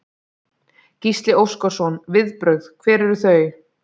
Gísli Óskarsson: Viðbrögð, hver eru þau?